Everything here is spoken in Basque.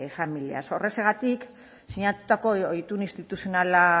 familias horrexegatik sinatutako itun instituzional